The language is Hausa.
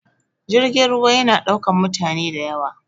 Jirgin ruwa ya na ɗaukan mutane da yawa